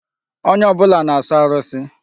Onye ọbụla na-asọ arụsị.